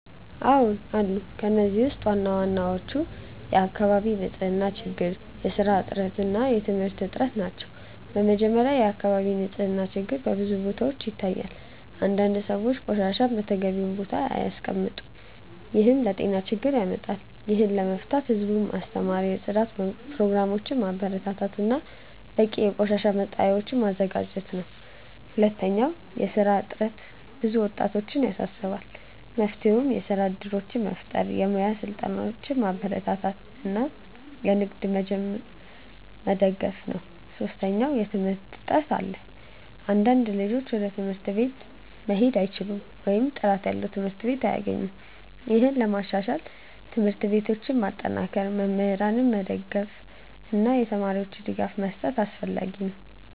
አዎን አሉ። ከእነዚህ ውስጥ ዋናዎቹ የአካባቢ ንፅህና ችግር፣ የስራ እጥረት እና የትምህርት እጥረት ናቸው። በመጀመሪያ፣ የአካባቢ ንፅህና ችግር በብዙ ቦታዎች ይታያል። አንዳንድ ሰዎች ቆሻሻን በተገቢው ቦታ አያስቀምጡም፣ ይህም ለጤና ችግር ያመጣል። ይህን ለመፍታት ህዝቡን ማስተማር፣ የጽዳት ፕሮግራሞችን ማበረታታት እና በቂ የቆሻሻ መጣያዎችን ማዘጋጀት አስፈላጊ ነው። ሁለተኛ፣ የስራ እጥረት ብዙ ወጣቶችን ያሳስባል። መፍትሄው የስራ እድሎችን መፍጠር፣ የሙያ ስልጠናዎችን ማበረታታት እና ንግድ መጀመርን መደገፍ ነው። ሶስተኛ፣ የትምህርት እጥረት አለ። አንዳንድ ልጆች ወደ ትምህርት ቤት መሄድ አይችሉም ወይም ጥራት ያለው ትምህርት አያገኙም። ይህን ለማሻሻል ትምህርት ቤቶችን ማጠናከር፣ መምህራንን መደገፍ እና ለተማሪዎች ድጋፍ መስጠት አስፈላጊ ነው።